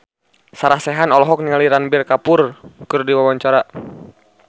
Sarah Sechan olohok ningali Ranbir Kapoor keur diwawancara